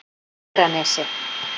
Hegranesi